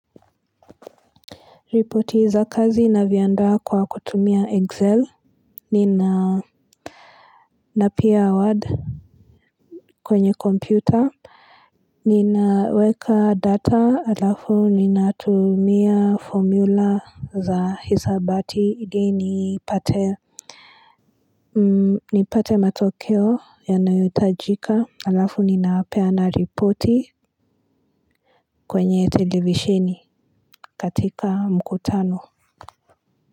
Ripoti za kazi navyaandaa kwa kutumia excel napia word kwenye kompyuta ninaweka data halafu ninatumia formula za hisabati ili nipate nipate matokeo yanayotajika alafu ninapeana ripoti kwenye televisheni katika mkutano.